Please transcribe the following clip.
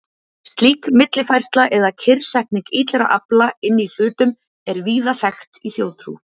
Slík millifærsla eða kyrrsetning illra afla inni í hlutum er víða þekkt í þjóðtrú.